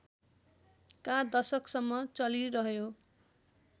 का दशकसम्म चलिरह्यो